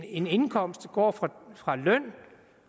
en indkomst går fra fra løn